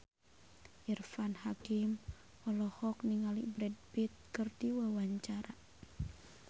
Irfan Hakim olohok ningali Brad Pitt keur diwawancara